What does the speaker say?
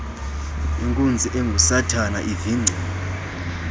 inkunzi engusathana ivingcile